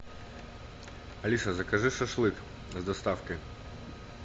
алиса закажи шашлык с доставкой